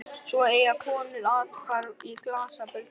Svo eiga konur athvarf í glasabörnum.